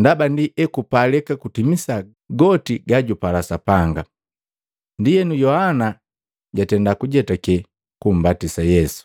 ndaba ndi ekupalika tutimisa goti gajupala Sapanga.” Ndienu Yohana jatenda kujetake kumbatisa Yesu.